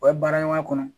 O ye baara ɲɔgɔn kɔnɔ